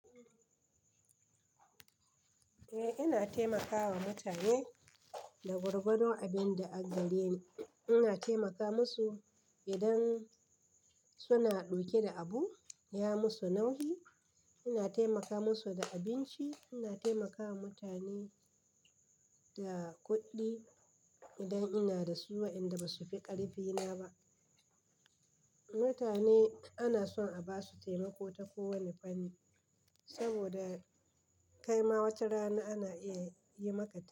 Eh ina taimakawa mutane da gwargwado abin da a gari ina taimaka musu idan suna ɗauke da abun in ya musu nauyi. Ina taimaka musu da abinci, ina taimakawa mutane da kuɗi idan ina da su wa inda ba su fi ƙarfi na ba. Mutane ana son a basu taimako ta ko wane fanni, saboda kaima wata rana ana iya yi maka ta.